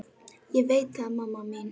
Ég veit það mamma mín.